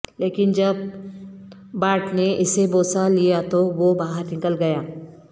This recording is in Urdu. لیکن جب بارٹ نے اسے بوسہ لیا تو وہ باہر نکل گیا